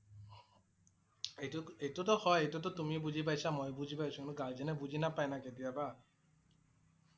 এইটো ~এইটো টো হয়। এইটো টো তুমি বুজি পাইছে, মই বুজি পাইছোঁ । কিন্তু guardian এ বুজি নাপায় না কেতিয়াবা।